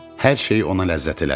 Hər şey ona ləzzət elədi.